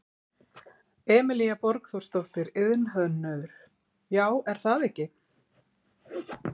Emilía Borgþórsdóttir, iðnhönnuður: Já, er það ekki?